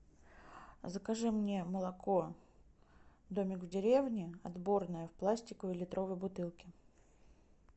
закажи мне молоко домик в деревне отборное в пластиковой литровой бутылке